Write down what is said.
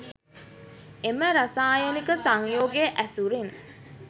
එම රසායනික සංයෝග ඇසුරින්